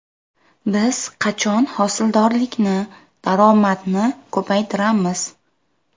Biz qachon hosildorlikni, daromadni ko‘paytiramiz?!